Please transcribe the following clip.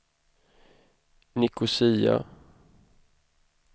Nicosia